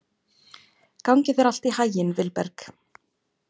Gangi þér allt í haginn, Vilberg.